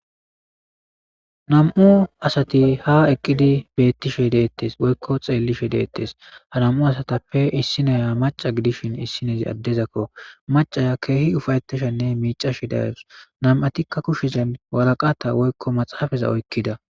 nam7u asati ha eqqidi beettishe deettes woykko xeellishe deettes ha nam7u asatappe issineya maca gidishin issinezi addezakko macaya keehi ufayetishenne miicashi darus nam7atikka kushezen walaqata woykko maxaafaza oykkida